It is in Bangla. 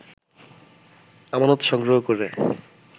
আমানত সংগ্রহ করে